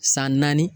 San naani